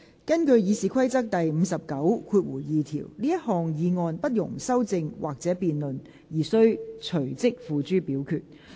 根據《議事規則》第592條，這項議案不容修正或辯論而須隨即付諸表決。